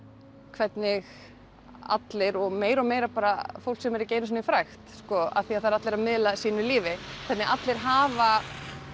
hvernig allir og meira og meira bara fólk sem er ekki einu sinni frægt af því það eru allir að miðla sínu lífi hvernig allir hafa